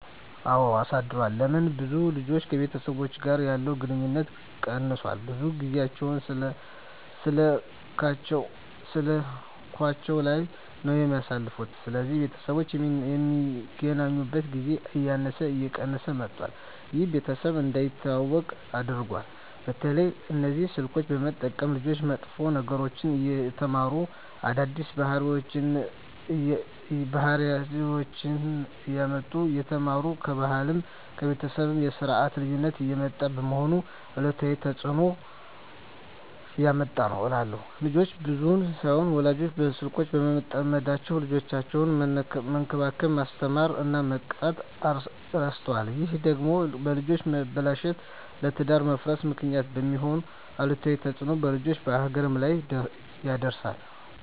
አወ አሳድሯል ለምን ብዙ ልጆች ከቤተሰቦቻቸው ጋር ያለቸዉ ግንኙነት ቀነሷል ብዙ ጊያቸዉን ስላካቸዉ ላይ ነዉ የሚያሳልፉት ስለዚህ ቤተሰቦች የሚገናኙበት ጊዜ እያነሰ እየቀነሰ መጧት ይሄም ቤተሰብ እንዳይተዋወቁ አድርጓቸዋል። በተለይ እነዚህ ስልኮችን በመጠቀም ልጆች መጥፎ ነገሮችን እየተማሩ አዳዲስ ባህሪወችነሰ እያመጡ እየተማሩ ከባህልም ከቤተሰብም የስርት ልዩነት እያመጡ በመሆኑ አሉታዊ ተጽእኖ እያመጣ ነዉ እላለሁ። ልጆች ብቻም ሳይሆኑ ወላጆችም በስልኮች በመጠመዳቸዉ ልጆቻቸዉነሰ መንከባከብ፣ መስተማር እና መቅጣት እረስተዋል ይሄ ደግሞ ለልጆች መበላሸት ለትዳር መፍረስ ምክንያት በመሄን አሉታዊ ተጽእኖ በልጆችም በሀገርም ላይ ያደርሳል።